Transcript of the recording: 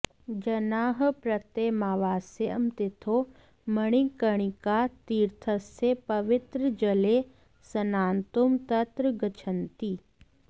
जनाः प्रत्यमावास्यं तिथौ मणिकर्णिकातीर्थस्य पवित्रजले स्नातुं तत्र गच्छन्ति